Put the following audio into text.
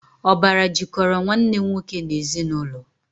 Ọbara jikọrọ Nwanne nwoke n'ezinụlọ